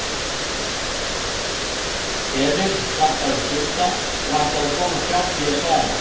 Emil klappaði Skunda og ætlaði að komast hjá því að svara.